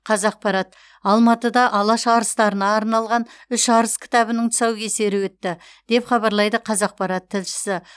қазақпарат алматыда алаш арыстарына арналған үш арыс кітабының тұсаукесері өтті деп хабарлайды қазақпарат тілшісі